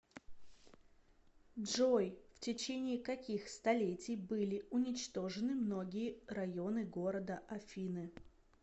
джой в течении каких столетий были уничтожены многие районы города афины